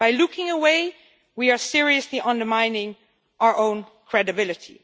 By looking away, we are seriously undermining our own credibility.